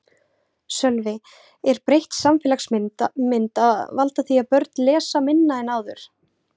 Sölvi: Er breytt samfélagsmynd að valda því að börn lesa minna en áður?